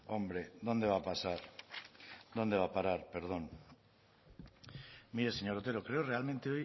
hombre dónde va a pasar dónde va a parar perdón mire señor otero creo realmente